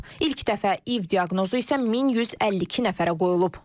İlk dəfə İİV diaqnozu isə 1152 nəfərə qoyulub.